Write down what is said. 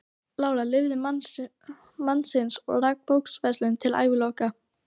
Lára lifði mann sinn og rak bókaverslun til æviloka.